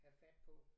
Have fat på